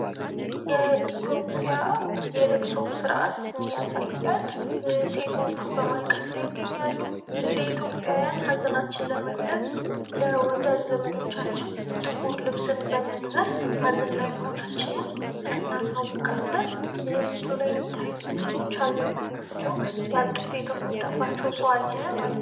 የኢትዮጵያ የለቅሶ ስርአትን ያሳያል ሴቶቹ በማልቀስ ላይ ይገኛሉ ፤ እንደ ኢትዮጵያዊያን ሀዘናችንን ለመግለጽ ፤ ለወዳጅ ዘመዶቻችን ጥቁር ልብስን በመልበስ ሀዘን ላይ መሆናችንን እናሳውቃለን ፤ ምስሉ ላይም የሚታዩትም ሰዎች ሃዘን ላይ ናቸዉ ፤ ያጡት የተጎዳባቸዉ ሰዉ አለ ማለት ነው።